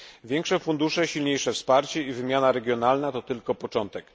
Większe fundusze, silniejsze wsparcie i wymiana regionalna to tylko początek.